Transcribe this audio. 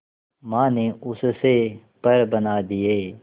मां ने उससे पर बना दिए